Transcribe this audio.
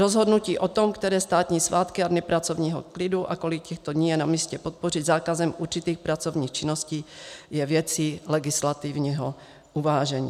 Rozhodnutí o tom, které státní svátky a dny pracovního klidu a kolik těchto dní je namístě podpořit zákazem určitých pracovních činností je věcí legislativního uvážení.